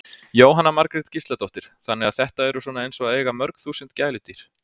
Jóhanna Margrét Gísladóttir: Þannig að þetta eru svona eins og að eiga mörg þúsund gæludýr?